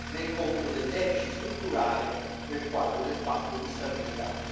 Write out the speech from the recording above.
nel conto del deficit strutturale nel quadro del patto di stabilità.